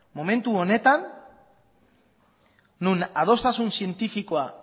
momentu honetan non adostasun zientifikoa